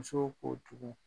Musow ko jugun